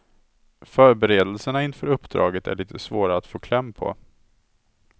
Förberedelserna inför uppdragen är lite svåra att få kläm på.